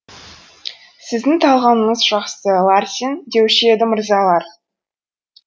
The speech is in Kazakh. сіздің талғамыңыз жақсы ларсен деуші еді мырзалар